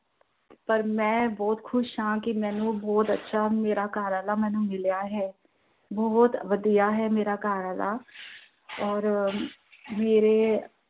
ਪਰ ਮੈਂ ਬਹੁਤ ਖੁਸ਼ ਹਾਂ ਕਿ ਮੈਂਨੂੰ ਬਹੁਤ ਅੱਛਾ ਮੇਰਾ ਘਰਵਾਲਾ ਮਿਲ ਆ ਹੈ, ਬਹੁਤ ਵਧੀਆ ਹੈ ਮੇਰਾ ਘਰਵਾਲਾ ਔਰ ਮੇਰੇ